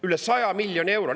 Üle 100 miljoni euro!